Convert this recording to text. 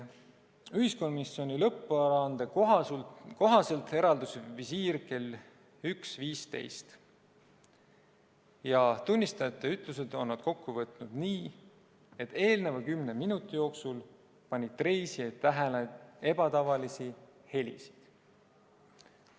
Ühiskomisjoni lõpparuande kohaselt eraldus visiir kell 1.15 ja tunnistajate ütlused on nad kokku võtnud nii, et eelnenud kümne minuti jooksul panid reisijad tähele ebatavalisi helisid.